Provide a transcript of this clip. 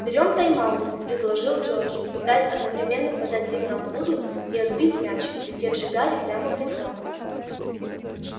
берём тайм-аут предложил джордж пытаясь одновременно подать сигнал вуду и отбить мяч летевший гарри прямо в лицо